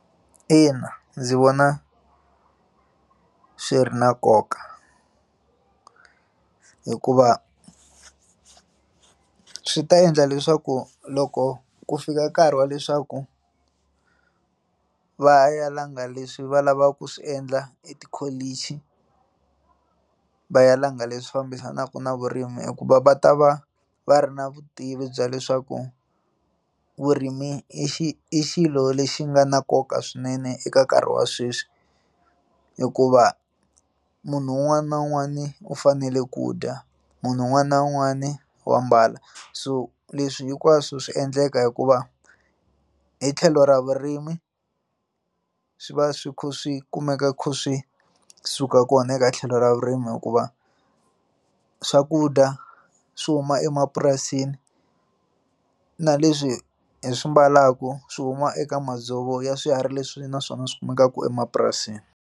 Ina, ndzi vona swi ri na nkoka hikuva swi ta endla leswaku loko ku fika nkarhi wa leswaku va ya ya langa leswi va lavaka ku swi endla etikholichi va ya langa leswi fambisanaka na vurimi hikuva va ta va va ri na vutivi bya leswaku vurimi i xi i xilo lexi nga na nkoka swinene eka nkarhi wa sweswi hikuva munhu un'wana na un'wana u fanele ku dya munhu un'wana na un'wana wa mbala so leswi hinkwaswo swi endleka hikuva hi tlhelo ra vurimi swi va swi kha swi kumeka swi suka kona eka tlhelo ra vurimi hikuva swakudya swi huma emapurasini na leswi hi swi ambalaka swi huma eka madzovo ya swiharhi leswi naswona swi kumekaka emapurasini.